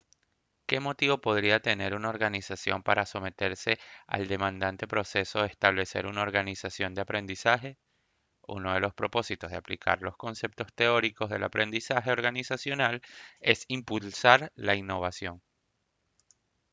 ¿qué motivo podría tener una organización para someterse al demandante proceso de establecer una organización de aprendizaje? uno de los propósitos de aplicar los conceptos teóricos del aprendizaje organizacional es impulsar la innovación